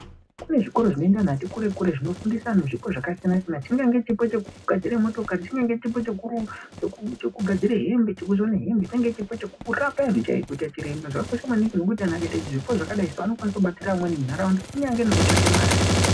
Kune zvikora zvinoenda anhu ati kure kure zvinofundisa anhu zvipi zvakasiyana siyana chingaye chipo chekugadzire motokari chingange chipo chekuruka cheku chekugadzire hembe chekusone hembe chingaye usapa kuita chiremba zvakakosha maningi nekuti anhu akaita zvipi zvakadai so inokwanisw kubatsirwa amweni kunyange nekutsvake mare.